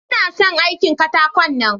Ina son aikin katakon nan.